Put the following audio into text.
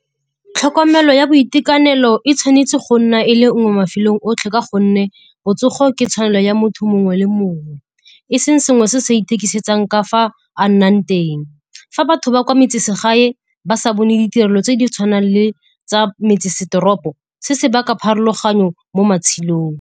Tlhokomelo ya boitekanelo e tshwanetse go nna e le nngwe ka gonne botsogo ke tshwanelo ya motho mongwe le mongwe. E seng selo se se ithekisetsang ka fa a nnang teng. Fa batho ba kwa metseselegae ba sa bone ditirelo tse di tshwanang le tsa metsesetoropo, se se baka pharologano mo matshelong.